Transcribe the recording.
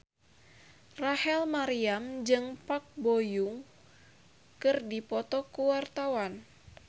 Rachel Maryam jeung Park Bo Yung keur dipoto ku wartawan